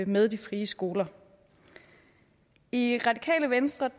med de frie skoler i radikale venstre